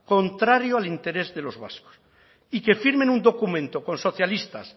contrario al interés de los vascos y que firmen un documento con socialistas